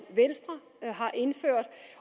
venstre har indført